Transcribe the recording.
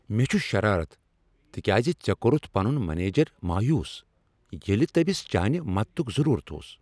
مےٚ چھ شرارت تکیازِ ژے کورتھ پنن منیجر مایوس ییلِہ تٔمس چانِہ مدتک ضرورت اوس۔